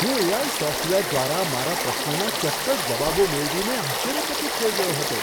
હું AI. Software દ્વારા મારા પ્રશ્નોના ચોક્કસ જવાબો મેળવીને આશ્ચર્યચકિત થઈ ગયો હતો.